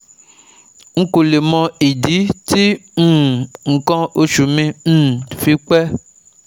N kò le mọ ìdí tí um nǹkan oṣù mi um fi pẹ́ um